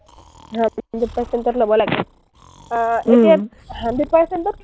hundred percent ত ল’ব লাগে। আহ এতিয়া hundred percent ত